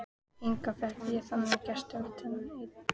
Enga fékk ég þangað gesti utan einn.